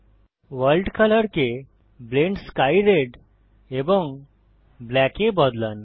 world কলরকে blend sky red এবং black এ বদলান